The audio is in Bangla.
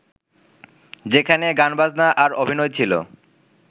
যেখানে গানবাজনা আর অভিনয় ছিল